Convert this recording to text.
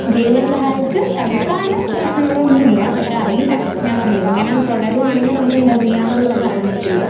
ദൈവം സഹായിച്ച് തൽക്കാലം പ്രശ്നങ്ങളൊന്നുവില്ല. പക്ഷെയറിയില്ല ഞാൻ പറഞ്ഞില്ലേ ഇങ്ങനെ തൊടരുവാണെങ്കി നമുക്കെന്താ ചെയ്യാന്ന്ള്ളത് പറയാമ്പറ്റില്ല.